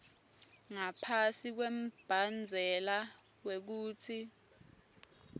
ngaphasi kwembandzela wekutsi